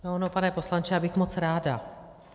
No ono, pane poslanče, já bych moc ráda.